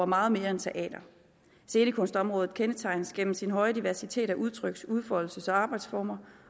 meget mere end teater scenekunstområdet kendetegnes gennem sin høje diversitet af udtryks udfoldelses og arbejdsformer